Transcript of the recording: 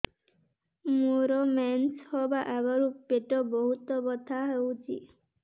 ମୋର ମେନ୍ସେସ ହବା ଆଗରୁ ପେଟ ବହୁତ ବଥା ହଉଚି